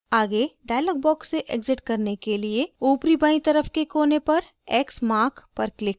आगे dialog box से exit करने के लिए ऊपरीबायीं तरफ के कोने पर x mark पर click करें